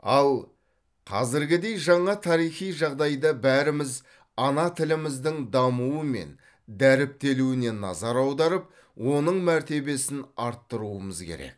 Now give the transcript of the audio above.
ал қазіргідей жаңа тарихи жағдайда бәріміз ана тіліміздің дамуы мен дәріптелуіне назар аударып оның мәртебесін арттыруымыз керек